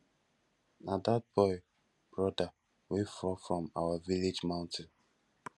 na dat boy broda wey fall down from our village mountain